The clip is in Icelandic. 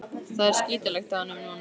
Það er skítalykt af honum núna.